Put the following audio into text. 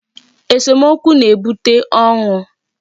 Esomokwu na-ebute ọnwụ.